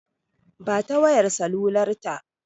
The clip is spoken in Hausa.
Ba ta wayar salular ta!